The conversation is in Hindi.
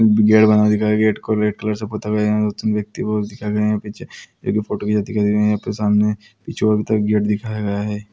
गेट बना हुआ दिखाया गया है| गेट को रेड कलर से पुता हुआ यहाँ व्यक्ति वो दिखा गया है| यहाँ पे वे फोटो खिचाते हैं यहाँ पे सामने पीछे की ओर गेट दिखाया गया है।